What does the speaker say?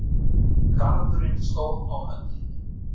Garðurinn stóð á öndinni.